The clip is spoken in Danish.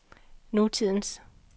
nutidens